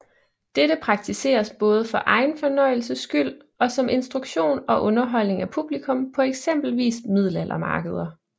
Dette praktiseres både for egen fornøjelses skyld og som instruktion og underholdning af publikum på eksempelvis middelaldermarkeder